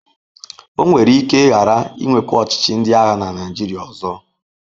O nwere ike ghara inwekwa ọchịchị ndị agha na Naịjirịa ọzọ.